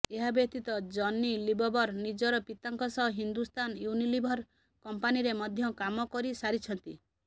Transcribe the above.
ଏହା ବ୍ୟତୀତ ଜନି ଲିବବର ନିଜର ପିତାଙ୍କ ସହ ହିନ୍ଦୁସ୍ତାନ ୟୁନିଲିଭର କମ୍ପାନୀରେ ମଧ୍ୟ କାମ କରିସାରିଛନ୍ତି